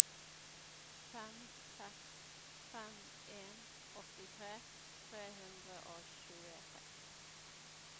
fem seks fem en åttitre tre hundre og tjueseks